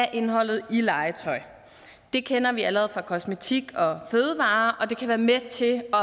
af indholdet i legetøj det kender vi allerede fra kosmetik og fødevarer og det kan være med til at